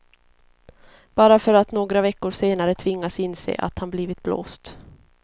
Bara för att några veckor senare tvingas inse att han blivit blåst.